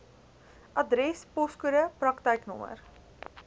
adres poskode praktyknommer